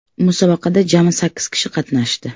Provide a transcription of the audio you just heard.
Musobaqada jami sakkiz kishi qatnashdi.